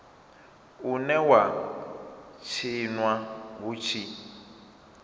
une wa tshinwa hu tshi